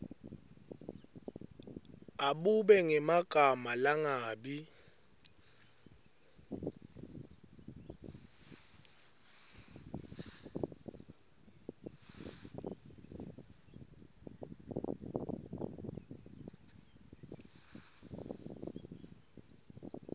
abube ngemagama langabi